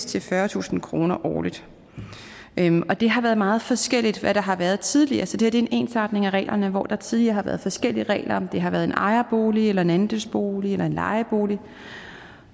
til fyrretusind kroner årligt og det har været meget forskelligt hvad der har været tidligere så det her er en ensartning af reglerne hvor der tidligere har været forskellige regler om det har været en ejerbolig eller en andelsbolig eller en lejebolig